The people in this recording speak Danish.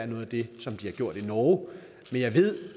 noget af det som de har gjort i norge men jeg ved